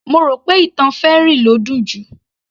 Mo rò pé ìtàn fairy ló dùn jù